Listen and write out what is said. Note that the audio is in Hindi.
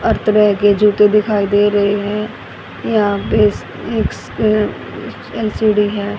हर तरह के जूते दिखाई दे रहे हैं यहां पे इस इस अह एल_सी_डी है।